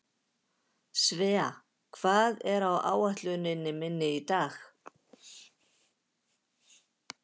Svea, hvað er á áætluninni minni í dag?